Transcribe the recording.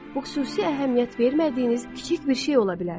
Bu xüsusi əhəmiyyət vermədiyiniz kiçik bir şey ola bilər.